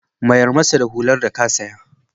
Mayar masa da hular da ka saya.